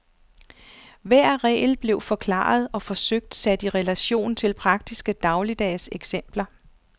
Hver regel blev forklaret og forsøgt sat i relation til praktiske dagligdags eksempler.